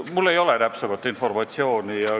Mul ei ole täpsemat informatsiooni.